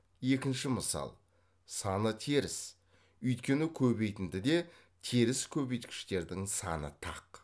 екінші мысал саны теріс өйткені көбейтіндіде теріс көбейткіштердің саны тақ